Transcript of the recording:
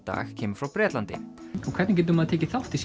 dag kemur frá Bretlandi hvernig getur maður tekið þátt í